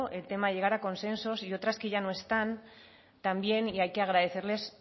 el tema de llegar a consensos y otras que ya no están también y hay que agradecerles